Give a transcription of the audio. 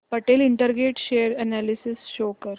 Patel Integrated share analysis show कर